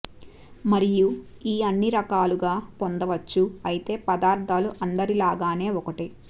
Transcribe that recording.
మరియు ఈ అన్ని రకాలుగా పొందవచ్చు అయితే పదార్థాలు అందరిలాగానే ఒకటే